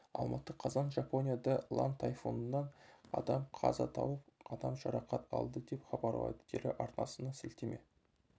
алматы қазан жапонияда лан тайфунынан адам қаза тауып адам жарақат алды деп хабарлайды телеарнасына сілтеме